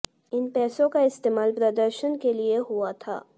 इन पैसों का इस्तेमाल प्रदर्शन के लिए हुआ था